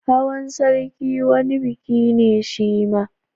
Hawan sarki wani biki ne shima